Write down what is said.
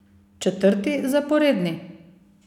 Četrti zaporedni?